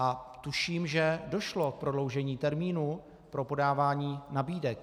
A tuším, že došlo k prodloužení termínu pro podávání nabídek.